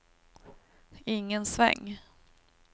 ingen sväng